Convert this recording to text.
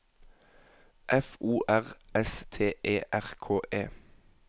F O R S T E R K E